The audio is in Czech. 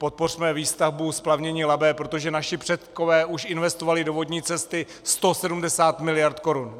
Podpořme výstavbu splavnění Labe, protože naši předkové už investovali do vodní cesty 170 miliard korun.